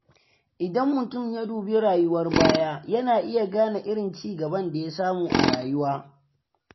Idan mutum ya dubi rayuwar baya, yana iya gane irin ci gaban da ya samu a rayuwa.: